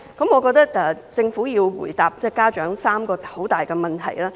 我認為政府要回答家長3項很大的問題。